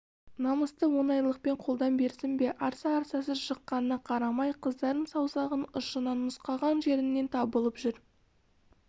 намысты оңайлықпен қолдан берсін бе арса-арсасы шыққанына қарамай қыздардың саусағының ұшынан нұсқаған жерінен табылып жүр